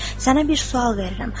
Sənə bir sual verirəm.